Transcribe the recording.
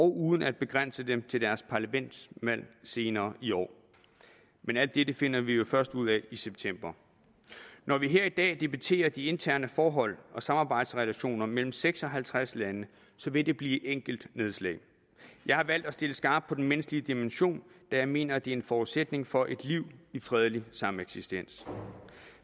uden at begrænse dem til deres parlamentsvalg senere i år men alt dette finder vi jo først ud af i september når vi her i dag debatterer de interne forhold og samarbejdsrelationerne mellem seks og halvtreds lande vil det blive enkeltnedslag jeg har valgt at stille skarpt på den menneskelige dimension da jeg mener det er en forudsætning for et liv i fredelig sameksistens